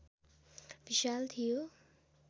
विशाल थियो